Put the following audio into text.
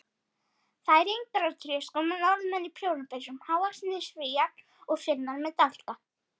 Færeyingar á tréskóm og Norðmenn í prjónapeysum, hávaxnir Svíar og Finnar með dálka.